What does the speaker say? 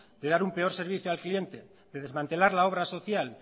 dar un peor servicio al cliente desmantelar la obra social